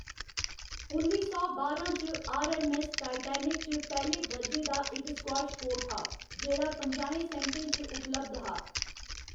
उन्नी सौ बारां च, आर.ऐम्म.ऐस्स. टाइटैनिक च पैह्‌‌ले दरजे दा इक स्क्वैश कोर्ट हा, जेह्‌‌ड़ा पंजाहें सेंटे च उपलब्ध हा।